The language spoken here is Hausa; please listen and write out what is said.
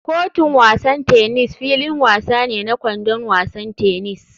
Kotun wasan tennis filin wasa ne na [kwandon wasan tennis.